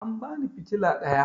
An bani fitala ɗaya